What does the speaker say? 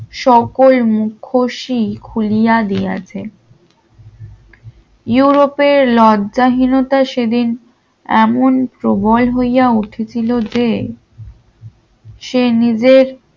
সকল মুখোশী খুলিয়া দিয়াছে ইউরোপের লজ্জা হীনতা সেদিন এমন প্রবল হইয়া উঠেছিল যে সে নিজের